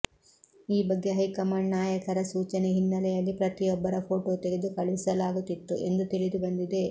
ಈ ಬಗ್ಗೆ ಹೈಕಮಾಂಡ್ ನಾಯಕರ ಸೂಚನೆ ಹಿನ್ನೆಲೆಯಲ್ಲಿ ಪ್ರತಿಯೊಬ್ಬರ ಫೋಟೋ ತೆಗೆದು ಕಳುಹಿಸಲಾಗುತ್ತಿತ್ತು ಎಂದು ತಿಳಿದುಬಂದಿದೆ